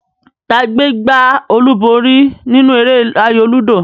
Ta gbé gbá olúborí nínú eré ayò lúdò?